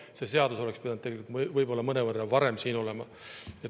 See seadus oleks pidanud võib-olla mõnevõrra varem siin olema.